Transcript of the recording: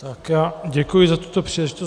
Tak já děkuji za tuto příležitost.